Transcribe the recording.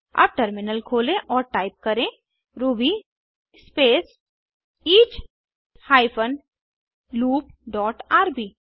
अब टर्मिनल खोलें और टाइप करें Ruby space each hyphen loop dot RB